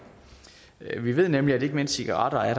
vi ved nemlig at ikke mindst cigaretter er